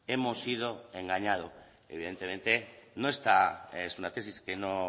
hemos sido engañados evidentemente no está no es una tesis que no